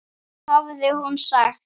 hafði hún sagt.